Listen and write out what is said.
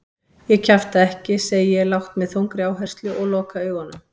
Ég kjafta ekki, segi ég lágt með þungri áherslu og loka augunum.